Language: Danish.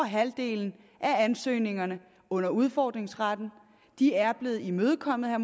halvdelen af ansøgningerne under udfordringsretten er blevet imødekommet